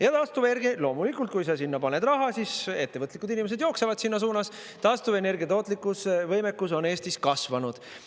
Ja taastuvenergia – loomulikult, kui sa sinna paned raha, siis ettevõtlikud inimesed jooksevad sinna suunas –, taastuvenergia tootlikkuse võimekus on Eestis kasvanud.